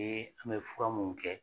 an bɛ fura mun kɛ